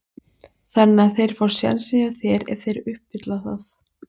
Þannig að þeir fá sénsinn hjá þér ef þeir uppfylla það?